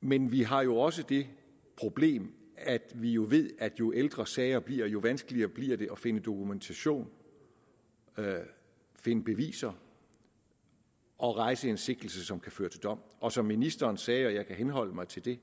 men vi har jo også det problem at vi jo ved at jo ældre sager bliver jo vanskeligere bliver det at finde dokumentation finde beviser og rejse en sigtelse som kan føre til dom og som ministeren sagde og jeg kan henholde mig til det